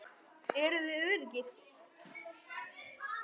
Erum við öruggir?